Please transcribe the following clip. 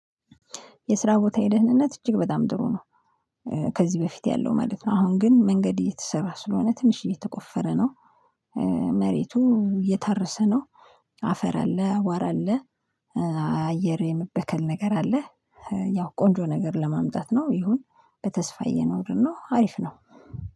የስራ ቦታዬ ደህንነት እጅግ በጣም ጥሩ ነው። ከዚህ በፊት ያለው ማለት ነው። አሁን ግን መንገድ እየተሰራ ስለሆነ ትንሽ እየተቆፈረ ነው። መሬቱ እየታረሰ ነው። አፈር አለ አቧራ አለ። አየር የመበከል ነገር አለ። ያው ቆንጆ ነገር ለማምጣት ነው። ይሁን በተስፋ እየኖርን ነው አሪፍ ነው